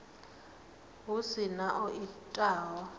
hu si na o itaho